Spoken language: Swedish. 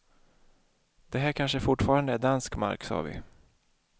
Det här kanske fortfarande är dansk mark, sa vi.